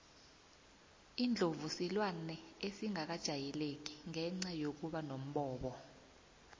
indlovu silwane esingakajayeleki ngenca yokuba nombobo